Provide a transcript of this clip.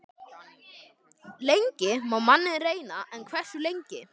Lengi má manninn reyna- en hversu lengi?